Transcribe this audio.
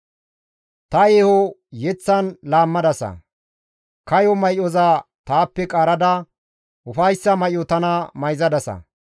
Ta yeeho yeththan laammadasa. Kayo may7oza taappe qaarada ufayssa may7o tana mayzadasa.